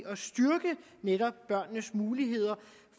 at styrke netop børnenes muligheder